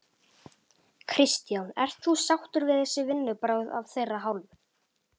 Kristján: Ert þú sáttur við þessi vinnubrögð af þeirra hálfu?